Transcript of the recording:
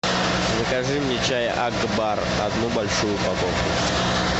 закажи мне чай акбар одну большую упаковку